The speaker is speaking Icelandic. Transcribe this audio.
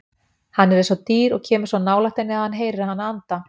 Hann er eins og dýr og kemur svo nálægt henni að hann heyrir hana anda.